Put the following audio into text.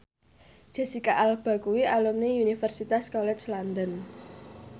Jesicca Alba kuwi alumni Universitas College London